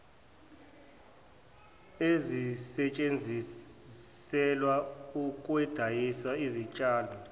ezisetshenziselwa ukwandisa izitshalo